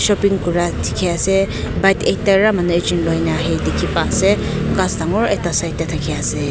shopping kura di ki asae bike ekta para manu ekjun loina di ki pa asae khass dangor ekta side dae taki asae.